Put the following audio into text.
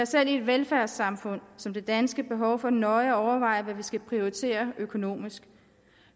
selv i et velfærdssamfund som det danske behov for nøje at overveje hvad vi skal prioritere økonomisk